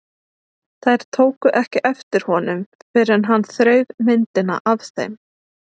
Þær tóku ekki eftir honum fyrr en hann þreif myndina af þeim.